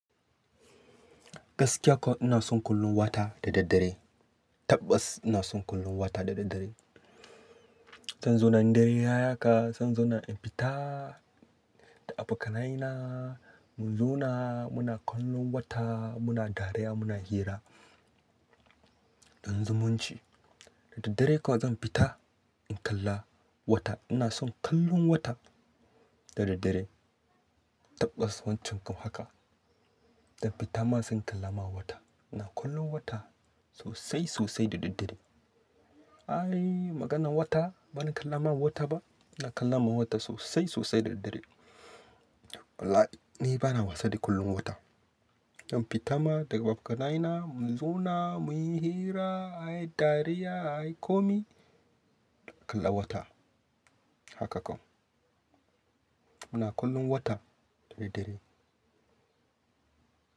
Gaskiya kuwa ina son kallon wata da daddare. Tabbas! Ina son kallon wata da daddare. Zan zauna in dare ya ti haka, zan zauna in fita da abokanaina, mu zauna muna kallon wata, muna dariya, muna hira don zumunci. Da daddare kawai zan fita in kalla wata. Ina son kallon wata da daddare. Tabbas Wan can kam haka, zan fita ma sai in kalla ma wata. Ina kallon wata sosai sosai da daddare. Ai maganan wata bana kallawa wata ba? Ina kallawa wata sosai sosai da daddare. Wallahi ni bana wasa da kallon wata. In fita ma da abokanaina mu zauna muyi hira, ayi dariya, ayi komai, a kalla wata. Haka kawai. Muna kallon wata da daddare.